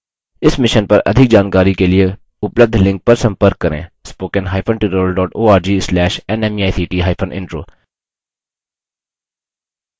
इस mission पर अधिक जानकारी के लिए उपलब्ध लिंक पर संपर्क करें spoken hyphen tutorial dot org slash nmeict hyphen intro